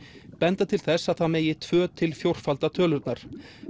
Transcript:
benda til þess að það megi tvö til fjórfalda tölurnar